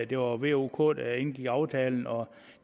det var v o og k der indgik aftalen og